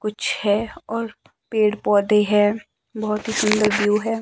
कुछ है और पेड़ पौधे है बहोत ही सुंदर व्यू है।